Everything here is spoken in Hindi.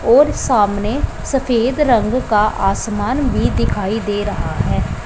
और सामने सफेद रंग का आसमान भी दिखाई दे रहा है।